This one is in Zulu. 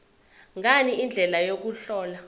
ngani indlela yokuhlola